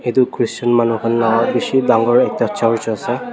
Etu Christian manu khan la khushe dangor ekta church ase.